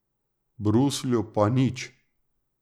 V Bruslju pa nič.